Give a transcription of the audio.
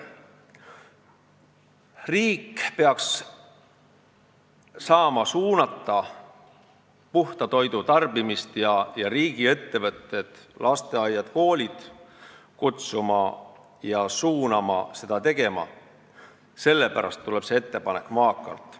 Riik peaks suunama puhta toidu tarbimist ning kutsuma riigiettevõtteid, lasteaedu ja koole seda tegema – sellepärast tuleb see ettepanek maakalt.